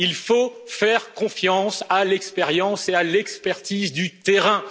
Il faut faire confiance à l'expérience et à l'expertise du terrain.